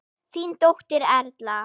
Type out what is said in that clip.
Þín dóttir, Erla.